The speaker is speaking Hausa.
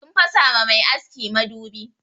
Sun fasa ma mai aski madubi.